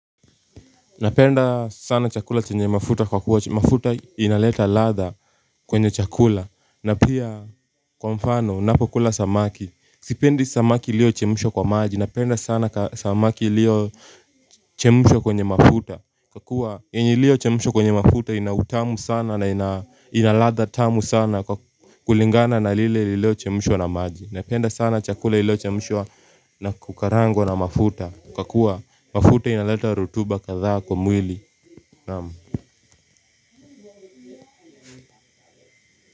Napenda sana chakula chenye mafuta kwa kuwa chenye mafuta inaleta latha kwenye chakula. Na pia kwa mfano napo kula samaki a sipendi samaki ilio chemshwa kwa maji. Napenda sana samaki ilio chemahwa kwenye mafuta. Kwa kuwa yenye ilio chemshwa kwenye mafuta inautamu sana na inalatha tamu sana. Kwa kulingana na lile lilio chemshwa na maji napenda sana chakula lio chemshwa na kukarangwa na mafuta. Kwa kuwa mafuta inaleta rotuba kathas kwa mwili.